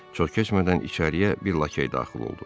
Çox keçmədən içəriyə bir lakey daxil oldu.